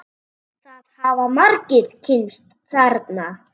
Það hafa margir kynnst þarna.